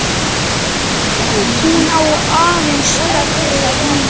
Hún á ansi erfitt núna.